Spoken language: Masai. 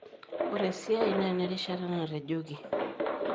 Ore esiai naa enerishata natejoki.